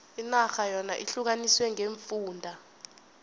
inarha yona ihlukaniswe ngeemfunda